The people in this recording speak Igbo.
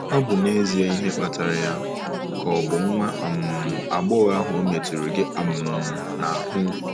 "Ọ̀ bụ n'ezie ihe kpatara ya, ka ọ̀ bụ nwa um agbọghọ ahụ ọ̀ metụrụ gị um n'ahụ?"